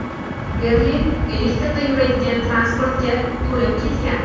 Berlin elektrda yuradigan transportga to‘lib ketgan.